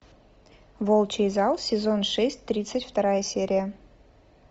волчий зал сезон шесть тридцать вторая серия